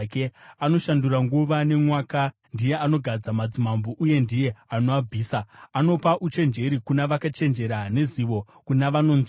Anoshandura nguva nemwaka; ndiye anogadza madzimambo uye ndiye anoabvisa. Anopa uchenjeri kuna vakachenjera nezivo kuna vanonzvera.